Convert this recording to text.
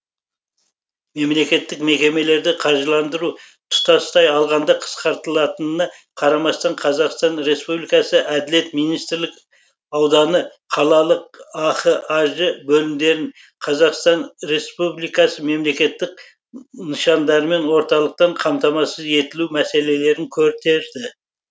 мемлекеттік мекемелерді қаржыландыру тұтастай алғанда қысқартылтанына қарамастан қазақстан респбликасы әділет министрлік ауданы қалалық ахаж бөлімдерін қазақстан республикасы мемлекеттік нышандармен орталықтан қамтамасыз етілуі мәселелерін көтерді